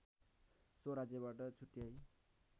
so राज्यबाट छुट्याई